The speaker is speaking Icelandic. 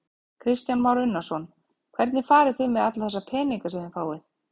Kristján Már Unnarsson: Hvernig farið þið með alla þessa peninga sem þið fáið?